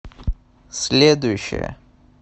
следующая